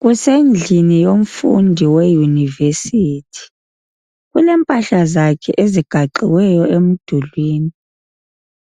Kusendlini yomfundi weyunivesithi, kulempahla zakhe ezigaxiweyo umdulwini.